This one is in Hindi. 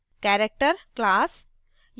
character class